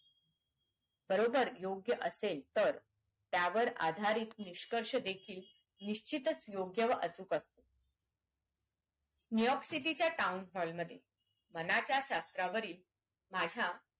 बरोबर योग्य असेल तर त्यावर आधारित निष्कर्ष देखील निश्चतच योग्य व अचूक असतो new york city च्या town hall मध्ये मनाचा शास्त्रावरील माझ्या